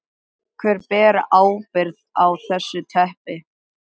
Hver ber ábyrgðina á þessu tapi?